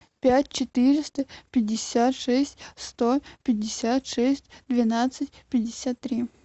пять четыреста пятьдесят шесть сто пятьдесят шесть двенадцать пятьдесят три